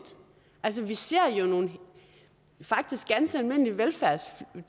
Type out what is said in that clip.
altså vi ser jo nogle faktisk ganske almindelige velfærdstiltag